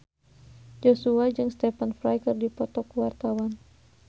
Joshua jeung Stephen Fry keur dipoto ku wartawan